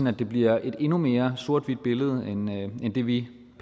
at det bliver et endnu mere sort hvidt billede end det vi